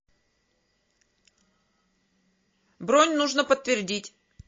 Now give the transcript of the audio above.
бронь нужно подтвердить